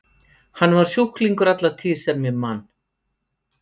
Hann var sjúklingur alla tíð sem ég man.